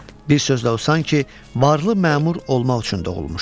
Bir sözlə o sanki varlı məmur olmaq üçün doğulmuşdu.